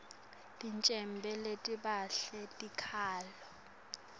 tincwembe letibhalwe tikhalo